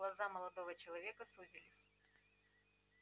глаза молодого человека сузились